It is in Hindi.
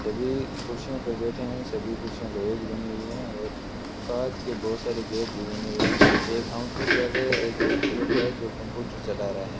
सभी कुर्सियों पर बैठे हैं सभी कुर्सियां लोहे की बनी हुई है और कांच के बहुत सारे गेट भी बने हुए हैं एक काउंटर पर एक व्यक्ति बैठा है जो कंप्यूटर चला रहा है।